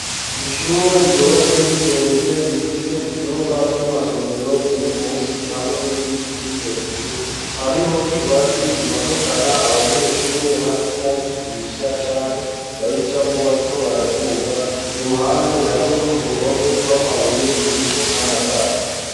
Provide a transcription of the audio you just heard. Ishure ryubatse rigeretse rifise ivyumba vy'amasomero biri munsi hamwe n'ibindi biri hejuru hariho ingazi imanukana abanyeshure hamwe n'abigisha canke bayicamwo bariko baraduga ku ruhande hariho uruhome rw'amabuye ruriko n'amatara.